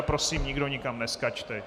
A prosím, nikdo nikam neskákejte!